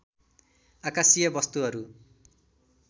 आकाशीय वस्तुहरू